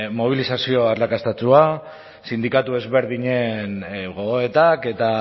mobilizazio arrakastatsua sindikatu ezberdinen gogoetak eta